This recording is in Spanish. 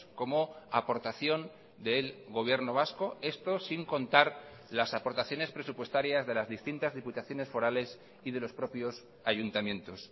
como aportación del gobierno vasco esto sin contar las aportaciones presupuestarias de las distintas diputaciones forales y de los propios ayuntamientos